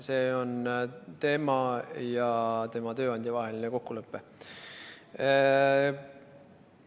See on tema ja tema tööandja vaheline kokkulepe.